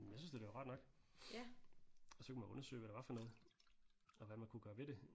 Jeg synes da det var rart nok og så kunne man undersøge hvad det var for noget og hvad man kunne gøre ved det